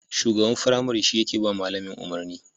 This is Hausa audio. Shugaban firamare shi yake ba malamin umarni